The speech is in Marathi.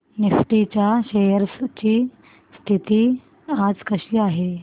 निफ्टी च्या शेअर्स ची स्थिती आज कशी आहे